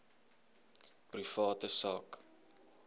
private sak